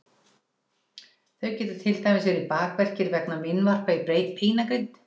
þau geta til dæmis verið bakverkir vegna meinvarpa í beinagrind